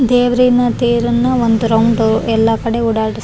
ಹಾಗೂ ಅದಕ್ಕೆ ಭಾರಿ ಡೆಕೊರೇಷನ್ ಎಲ್ಲ ಮಾಡಿ ಭಾರಿ ಚೆನ್ನಾಗ ಮಾಡ್ತಾರೆ.